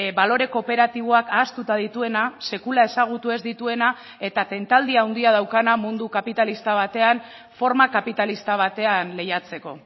balore kooperatiboak ahaztuta dituena sekula ezagutu ez dituena eta tentaldi handia daukana mundu kapitalista batean forma kapitalista batean lehiatzeko